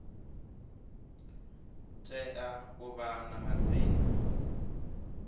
tea u vha na madzina